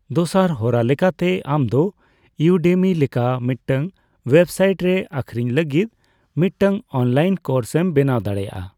ᱫᱚᱥᱟᱨ ᱦᱚᱨᱟ ᱞᱮᱠᱟᱛᱮ, ᱟᱢ ᱫᱚ ᱤᱭᱩᱰᱮᱢᱤ ᱞᱮᱠᱟ ᱢᱤᱫᱴᱟᱝ ᱳᱭᱵᱽᱥᱟᱭᱤᱴ ᱨᱮ ᱟᱹᱠᱷᱨᱤᱧ ᱞᱟᱹᱜᱤᱫ ᱢᱤᱫᱴᱟᱝ ᱚᱱᱞᱟᱭᱤᱱ ᱠᱳᱨᱥ ᱮᱢ ᱵᱮᱱᱟᱣ ᱫᱟᱲᱮᱭᱟᱜᱼᱟ ᱾